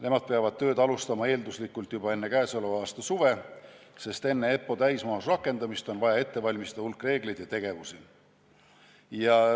Nemad peavad tööd alustama eelduslikult juba enne käesoleva aasta suve, sest enne EPPO täismahus rakendamist on vaja ette valmistada hulk reegleid ja tegevusi.